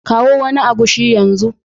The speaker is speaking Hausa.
Kawo wani agushi yanzu